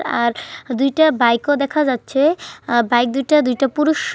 আর দুইটা বাইক -ও দেখা যাচ্ছে। আ বাইক দুটা দুইটা পুরুষ --